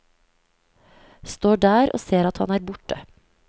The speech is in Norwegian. Står der og ser at han er borte.